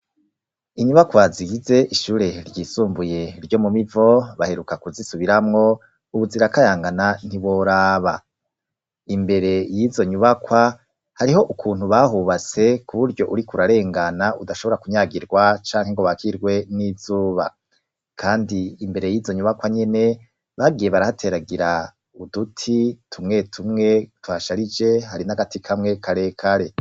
Inyubakwa zigize ishure ryisumbuye ryo mu mivo baheruka kuzisubiramwo, ubu zirakayangana ntiworaba imbere y'izo nyubakwa hariho ukuntu bahubatse kuburyo urik'urarengana udashobora kunyagirwa canke ngo bakirwe n'izuba, kandi imbere y'izo nyubakwa nyene bagiye barahateragira uduti tumwe tumwe tuhasharije hari n'agati kamwe karekare.